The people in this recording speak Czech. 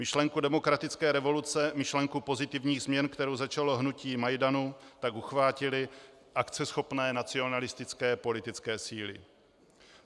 Myšlenku demokratické revoluce, myšlenku pozitivních změn, kterou začalo hnutí Majdanu, tak uchvátily akceschopné nacionalistické politické síly.